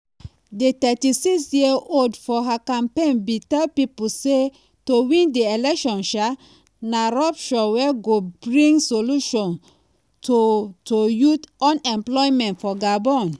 di 36-year-old for her campaign bin tell pipo say to win di election "na rupture wey go bring solution to to youth unemployment for gabon".